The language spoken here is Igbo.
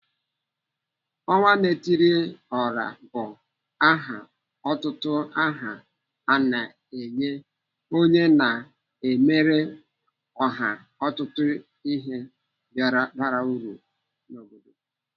Onwa-na-etiri-ora bụ aha otito ana enye onye na-emere oha ọtụtụ ihe bara uru n'obodo.